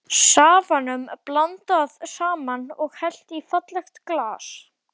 Safanum blandað saman og hellt í fallegt glas.